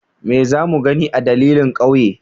Me za mu gani a dandalin ƙauye?